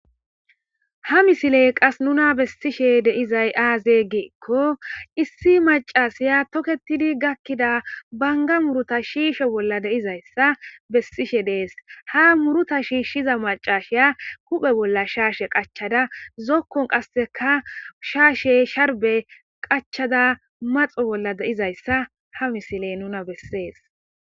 ha misiley qas nuna bessishe deizay aazeygiikko issi macasiya toketidi gakkida banga muruta shiishe bolla deizayssa bessishe dees ha muruta shiishshiza macashiya kuphe bolla shaashe qachada zokkon qasseka shaashe sharbe qachada maxo bolla deizayssa ha misiley nuna bessees